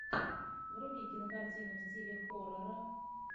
вруби кинокартину в стиле хоррора